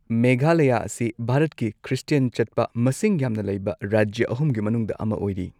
ꯃꯦꯘꯥꯂꯌꯥ ꯑꯁꯤ ꯚꯥꯔꯠꯀꯤꯈ꯭ꯔꯤꯁꯇꯤꯌꯟ ꯆꯠꯄ ꯃꯁꯤꯡ ꯌꯥꯝꯅ ꯂꯩꯕ ꯔꯥꯖ꯭ꯌ ꯑꯍꯨꯝꯒꯤ ꯃꯅꯨꯡꯗ ꯑꯃ ꯑꯣꯏꯔꯤ꯫